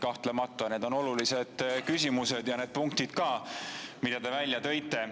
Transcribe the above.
Kahtlemata need on olulised küsimused ja need punktid ka, mida te välja tõite.